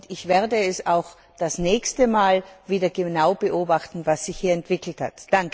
Ich werde auch das nächste Mal wieder genau beobachten, was sich hier entwickelt hat.